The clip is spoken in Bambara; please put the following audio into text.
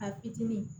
A fitinin